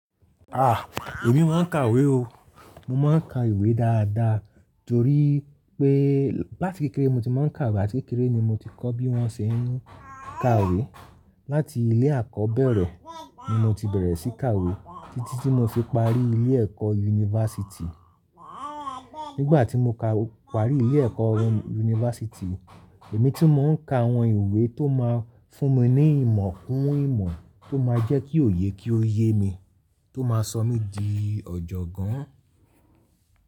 Ha, èmi máa ń kàwé o. Mo máa ń ka ìwé dáadáa torí pé láti kékeré mo ti máa ń kàwé, àti kékeré ni mo ti kọ́ bí wón ṣe ń kàwé. Láti ilé àkọ́bẹ̀rẹ̀ ni mo ti bẹ̀rẹ̀ sí kàwé títí tí mo fi parí ilé ẹ̀kọ́ yunifásítì. Nígbà tí mo ka parí ilé ẹ̀kọ́ yunifásítì, èmi tí mò ń ka àwọn ìwé tó máa fún mi ní ìmọ̀ kún ìmọ̀ tó máa jẹ́ kí òye kí ó yé mi, tó máa sọ mí di ọ̀jọ̀gbọ́n.